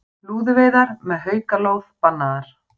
Lúðuveiðar með haukalóð bannaðar